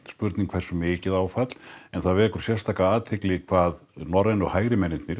spurning hversu mikið áfall athyglisvert hve norrænu hægri mennirnir